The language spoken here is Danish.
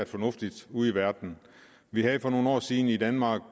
fornuftigt ude i verden vi havde for nogle år siden i danmark